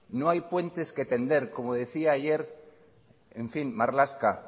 no hay puentes que tender como decía ayer marlaska